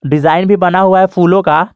Design भी बना हुआ है फूलों का।